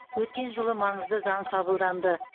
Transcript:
өткен жылы маңызды заң қабылданды